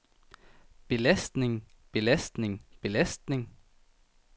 belastning belastning belastning